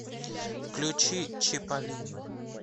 включи чиполлино